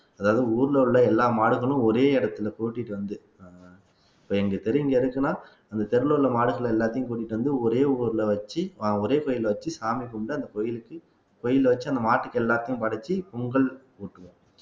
அதாவது ஊர்ல உள்ள எல்லா மாடுகளும் ஒரே இடத்துல கூட்டிட்டு வந்து இப்ப எங்க தெரு இங்க இருக்குன்னா அந்த தெருவுல உள்ள மாடுகள் எல்லாத்தையும் கூட்டிட்டு வந்து ஒரே ஊர்ல வச்சு ஒரே கோயில வச்சு சாமி கும்பிட்டு அந்த கோயிலுக்கு வெளியில வச்சு அந்த மாட்டுக்கு எல்லாத்தையும் படைச்சு பொங்கல் ஊட்டுவோம்